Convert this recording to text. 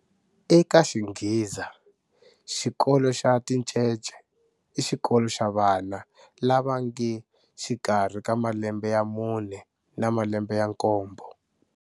Eka xinghiza, xikolo xa tincece i xikolo xa vana lava nge xikarhi ka malembe ya mune na malembe ya nkombo.